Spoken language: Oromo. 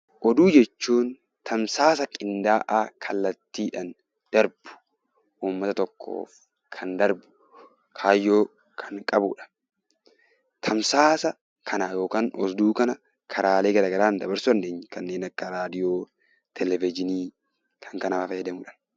Oduu jechuun tamsaasa qindaa'aa kallattiidhaan darbu uummata tokkoof kan darbu kaayyoo kan qabudha. Tamsaasa kana yookiin oduu kana karaalee garaagaraan dabarsuu dandeenya. Kanneen akka raadiyoo, televezyiinii fi kan kana fakkaatanidha.